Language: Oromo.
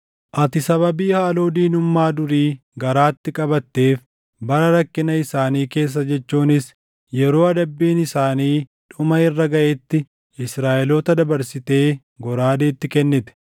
“ ‘Ati sababii haaloo diinummaa durii garaatti qabatteef bara rakkina isaanii keessa jechuunis yeroo adabbiin isaanii dhuma irra gaʼetti Israaʼeloota dabarsitee goraadeetti kennite;